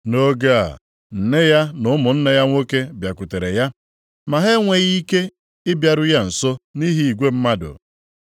Nʼoge a, nne ya na ụmụnne ya nwoke bịakwutere ya. Ma ha enweghị ike ịbịaru ya nso nʼihi igwe mmadụ.